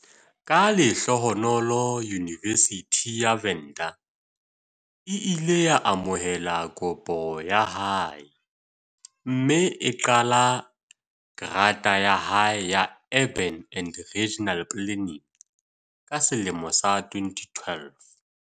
Ka lehlohonolo Yunivesithi ya Venda e ile ya amohela kopo ya hae mme a qala grata ya hae ya Urban and Regional Planning ka selemo sa 2012.